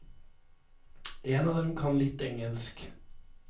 En av dem kan litt engelsk.